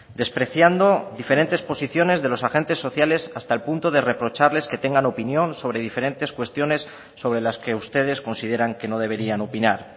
despreciando diferentes posiciones de los agentes sociales hasta el punto de reprocharles que tengan opinión sobre diferentes cuestiones sobre las que ustedes consideran que no deberían opinar